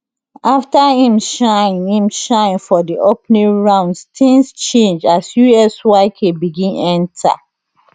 afta im shine im shine for di opening rounds tins change as usyk begin enta